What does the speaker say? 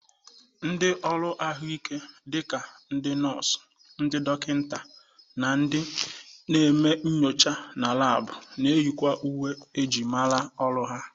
Ndị ọrụ ahụike dị ka ndị nọs, ndị dọkịnta na ndị na-eme nyocha na labụ na-eyikwa uwe myịrịmara ọrụ ha.